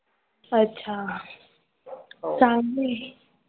अच्छा चांगलं आहे.